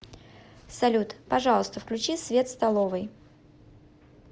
салют пожалуйста включи свет в столовой